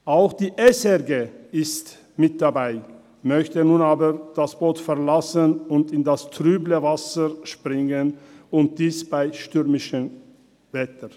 Auch die SRG ist mit dabei, möchte nun aber das Boot verlassen und ins trübe Wasser springen, und dies bei stürmischem Wetter.